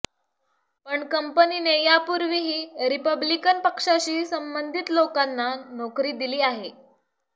पण कंपनीने यापूर्वीही रिपब्लिकन पक्षाशी संबंधित लोकांना नोकरी दिली आहे